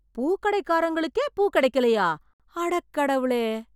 பூ கடைக்காரங்களுக்கே பூ கிடைக்கலையா? அடக் கடவுளே!